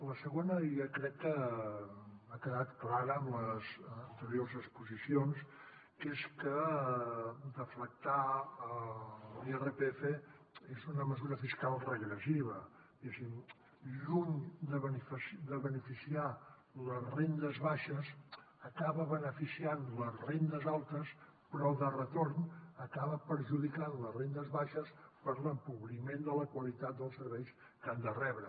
la segona ja crec que ha quedat clara amb les anteriors exposicions que és que deflactar l’irpf és una mesura fiscal regressiva diguéssim lluny de beneficiar les rendes baixes acaba beneficiant les rendes altes però de retorn acaba perjudicant les rendes baixes per l’empobriment de la qualitat dels serveis que han de rebre